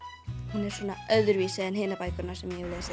hún er svona öðruvísi en hinar bækurnar sem ég hef lesið